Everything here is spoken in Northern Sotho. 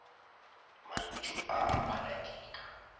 mantšu a a phala dika